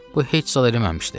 Bu heç zad eləməmişdi.